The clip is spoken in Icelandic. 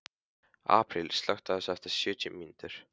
Apríl, slökktu á þessu eftir sjötíu mínútur.